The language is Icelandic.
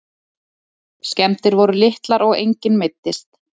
Skemmdir voru litlar og enginn meiddist